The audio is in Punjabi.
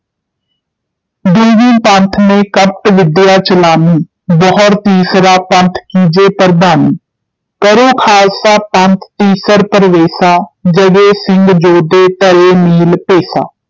ਦੁਹੂੰ ਪੰਥ ਮੇਂ ਕਪਟ ਵਿਦਿਆ ਚਲਾਨੀ, ਬਹੁਰ ਤੀਸਰਾ ਪੰਥੁ ਕੀਜੈ ਪ੍ਰਧਾਨੀ, ਕਰੇਂ ਖਾਲਸਾ ਪੰਥ ਤੀਸਰ ਪ੍ਰਵੇਸਾ, ਜਗੋਂ ਸਿੰਘ ਜੋਧੇ ਧਰੈਂ ਨੀਲ ਭੇਸਾ।